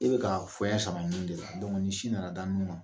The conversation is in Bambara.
E bɛ ka fɔya sama minkɛ sin nana da nun kan.